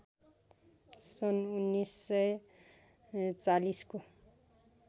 सन् १९४० को